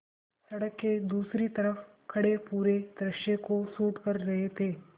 सड़क के दूसरी तरफ़ खड़े पूरे दृश्य को शूट कर रहे थे